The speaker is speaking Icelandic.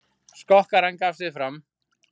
Skokkarinn gaf sig fram